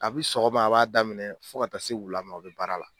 Kabi sɔgɔma a b'a daminɛ fɔ ka taa se wula ma o bɛ ban.